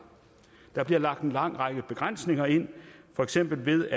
der bliver lagt en lang række begrænsninger ind for eksempel